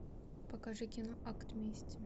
покажи кино акт мести